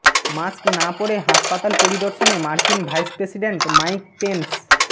mask না পরে হাসপাতাল পরিদর্শনে মার্কিন ভাইস প্রেসিডেন্ট মাইক পেন্স